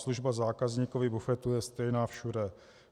Služba zákazníkovi bufetu je stejná všude.